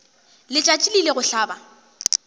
letšatši le ile go hlaba